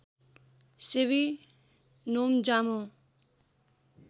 सेवी नोम्जामो